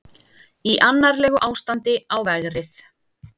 Í annarlegu ástandi á vegrið